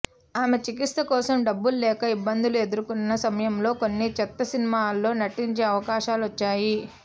ఆమె చికిత్స కోసం డబ్బులు లేక ఇబ్బందులు ఎదుర్కొన్న సమయంలో కొన్ని చెత్త సినిమాల్లో నటించే అవకాశాలు వచ్చాయి